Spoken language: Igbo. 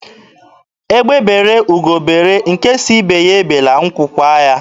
Egbe bere, ugo bere, nke sị ibe ya ebela, nkwu kwaa ya.